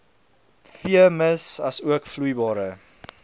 veemis asook vloeibare